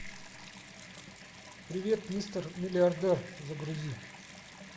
привет мистер миллиардер загрузи